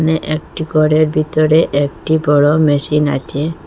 এ একটি ঘরের ভিতরে একটি বড় মেশিন আছে।